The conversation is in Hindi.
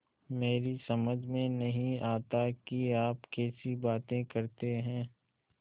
मेरी समझ में नहीं आता कि आप कैसी बातें करते हैं